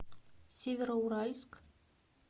североуральск